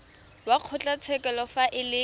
wa kgotlatshekelo fa e le